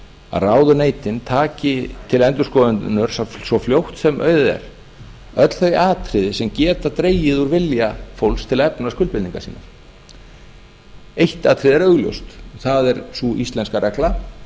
að ráðuneytin taki til endurskoðunar svo fljótt sem auðið er öll þau atriði sem geta dregið úr vilja fólks til að efna skuldbindingar sínar eitt atriði er augljóst það er sú íslenska regla